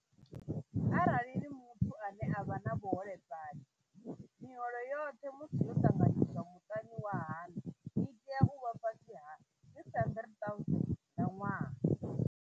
Arali ni muthu ane a vha na vhuholefhali, miholo yoṱhe musi yo ṱanganyiswa muṱani wa haṋu i tea u vha fhasi ha R600 000 nga ṅwaha.